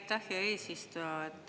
Aitäh, hea eesistuja!